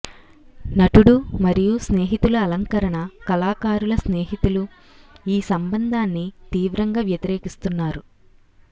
నటుడు మరియు స్నేహితుల అలంకరణ కళాకారుల స్నేహితులు ఈ సంబంధాన్ని తీవ్రంగా వ్యతిరేకిస్తున్నారు